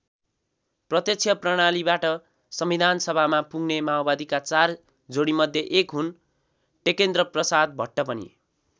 प्रत्यक्ष प्रणालीबाट संविधानसभामा पुग्ने माओवादीका चार जोडीमध्ये एक हुन् टेकेन्द्रप्रसाद भट्ट पनि।